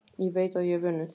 Ég veit að ég hef unnið.